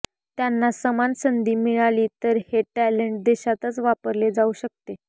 त्यांना समान संधी मिळाली तर हे टॅलेंट देशातच वापरले जाऊ शकते